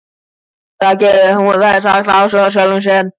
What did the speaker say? Líklega geri ég það vegna ástar á sjálfum mér.